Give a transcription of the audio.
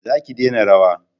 za ki dena rawa!